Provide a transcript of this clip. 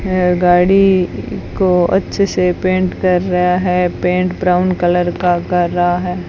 यह गाड़ी को अच्छे से पेंट कर रहा है पेंट ब्राउन कलर का कर रहा है।